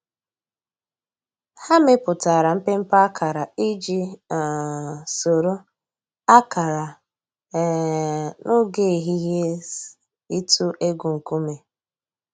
Hà mẹpùtárà mpémpé àkárà íjì um sòrò àkárà um n'ògè èhìhìè’s ị̀tụ̀ ègwù ńkùmé̀.